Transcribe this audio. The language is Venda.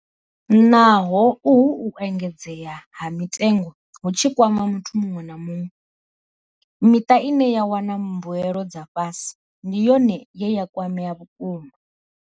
Naho uhu u engedzea ha mitengo hu tshi kwama muthu muṅwe na muṅwe, miṱa ine ya wana mbuelo dza fhasi ndi yone ye ya kwamea vhukuma.